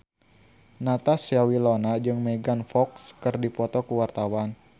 Natasha Wilona jeung Megan Fox keur dipoto ku wartawan